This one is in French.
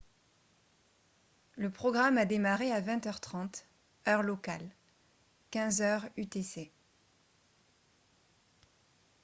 le programme a démarré à 20 h 30 heure locale 15 h 00 utc